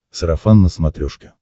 сарафан на смотрешке